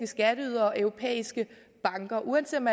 skatteydere og europæiske banker uanset om